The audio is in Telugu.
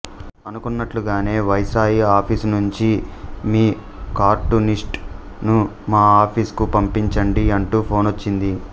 అనుకున్నట్లుగానే వైస్రాయి ఆఫీసు నుంచి మీ కార్టూనిస్ట్ ను మా ఆఫీస్ కు పంపించండి అంటూ ఫోనొచ్చింది